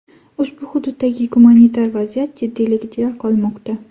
Ushbu hududdagi gumanitar vaziyat jiddiyligicha qolmoqda.